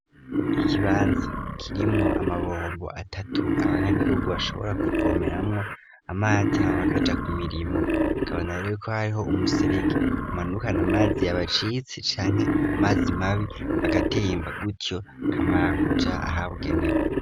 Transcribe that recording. Ikibanza kirimwo amabombo atatu abanyagihugu bashobora kuvomeramwo amazi ham bakaja ku mirimo bikabaneka rero ko hariho umuserege umanukana amazi yabacitse canke amazi mabi agatemba gutyo kamara kuja ahabugenewe.